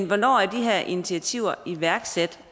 hvornår er de her initiativer iværksat